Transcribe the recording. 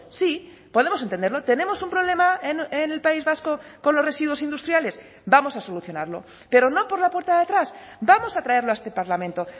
sí podemos entenderlo tenemos un problema en el país vasco con los residuos industriales vamos a solucionarlo pero no por la puerta de atrás vamos a traerlo a este parlamento